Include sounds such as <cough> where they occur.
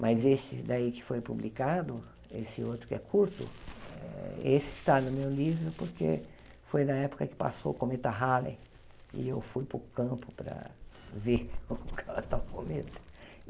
Mas esse daí que foi publicado, esse outro que é curto, eh esse está no meu livro porque foi na época que passou o Cometa Halley e eu fui para o campo para ver o <unintelligible> tal Cometa.